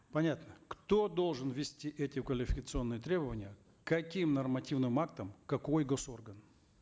понятно кто должен ввести эти квалификационные требования каким нормативным актом какой госорган